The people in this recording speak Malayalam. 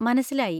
മനസ്സിലായി!